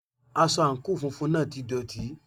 Aṣọ àǹkóò funfun náà ti dọ̀tí.